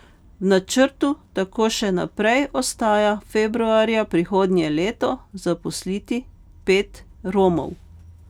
V načrtu tako še naprej ostaja februarja prihodnje leto zaposliti pet Romov.